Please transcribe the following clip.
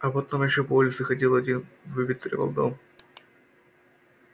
а потом ещё по улице ходил один выветривал дом